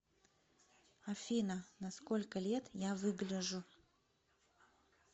афина на сколько лет я выгляжу